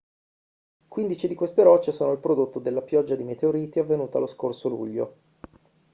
quindici di queste rocce sono il prodotto della pioggia di meteoriti avvenuta lo scorso luglio